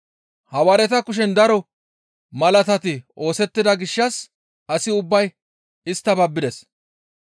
Hawaareta kushen daro malaatati oosettida gishshas asi ubbay isttas babbides.